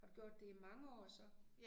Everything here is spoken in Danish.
Har du gjort det i mange år så?